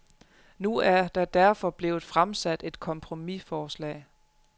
Nu er der derfor blevet fremsat et kompromisforslag.